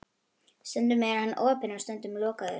Stundum er hann opinn, stundum lokaður.